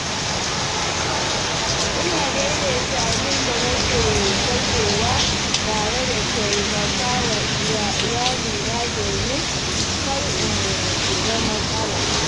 Ina daidaita abin da nake kashewa tare da taimakawa iyalina domin kar in shiga matsala.